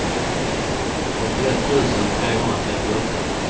åttioett tusen trehundratrettioåtta